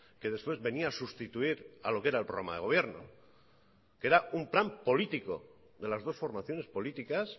que después venía a sustituir a lo que era el programa de gobierno que era un plan político de las dos formaciones políticas